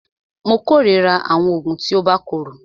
Mó kòrira àwọn oògùn tí o bá korò.